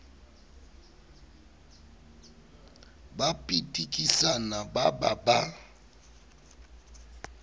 ba pitikisana ba ba ba